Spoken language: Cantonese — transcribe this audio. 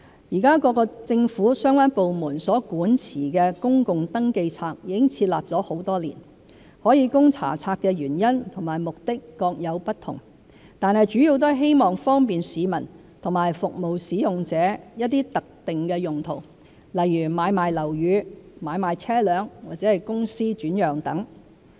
現時，各政府相關部門所管持的公共登記冊已設立多年，可供查冊的原因和目的各有不同，但主要都是希望方便市民和服務使用者作一些特定用途，如買賣樓宇、買賣車輛或公司轉讓等。